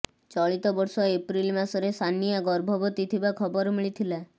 ଚଳିତ ବର୍ଷ ଏପ୍ରିଲ ମାସରେ ସାନିଆ ଗର୍ଭବତୀ ଥିବା ଖବର ମିଳିଥିଲା